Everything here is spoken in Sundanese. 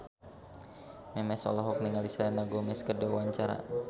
Memes olohok ningali Selena Gomez keur diwawancara